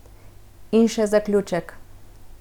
In še zaključek.